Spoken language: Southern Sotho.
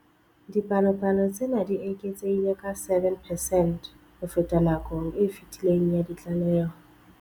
Dipalopalo tsena di eketsehile ka 7 percent ho feta nakong e fetileng ya ditlaleho.